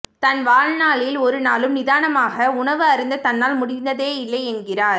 தன்வாழ்நாளில் ஒரு நாளும் நிதானமாக உணவு அருந்த தன்னால் முடிந்ததேயில்லை என்கிறார்